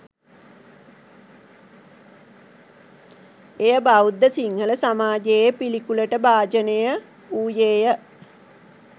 එය බෞද්ධ සිංහල සමාජයේ පිළිකුලට භාජනය වූයේය